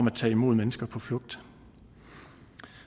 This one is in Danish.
at tage imod mennesker på flugt